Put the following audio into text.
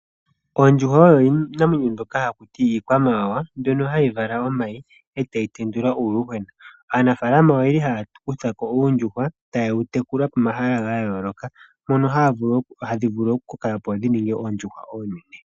Oondjuhwa oyo iinamwenyo mbyoka haku tiwa iikwamawawa mbyono hayi vala omayi e tayi tendula uuyuhwena. Aanafaalama oyeli haya kutha ko uuyuhwena taye wu tekula pomahala ga yooloka mono hadhi vulu okukoka opo dhi ninge oondjuhwa oonene.